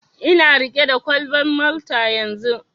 Ina riƙe da kwalban Malta yanzun.